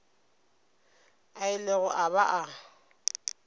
a ilego a ba a